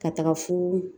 Ka taga fo